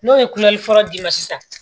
N'o ye fɔlɔ d'i ma sisan